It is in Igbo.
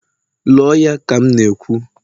lụọ ya ka m na-ekwu!